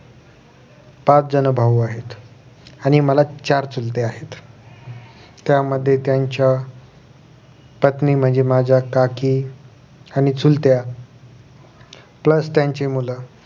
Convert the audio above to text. सातजण भाऊ आहेत आणि मला चार चुलते आहेत त्यामध्ये त्यांच्या पत्नी म्हणे माझ्या काकी आणि चुलत्या plus त्यांची मुलं